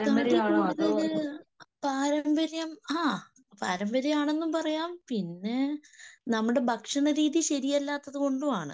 തടി കൂടുതല് പാരമ്പര്യം ആഹ് , പാരമ്പര്യം ആണെന്നും പറയാം പിന്നെ നമ്മുടെ ഭക്ഷണരീതി ശെരിയല്ലാത്തതുകൊണ്ടും ആണ്.